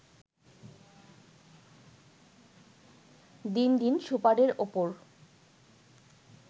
দিন দিন সুপারের ওপর